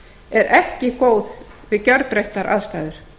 er ekki góð við gerbreyttar aðstæður